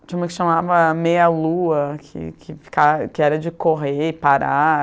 Tinha uma que se chamava Meia Lua, que que fica que era de correr e parar.